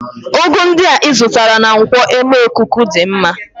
Ugu ndị a ịzụtara na nkwo emekuku dị mma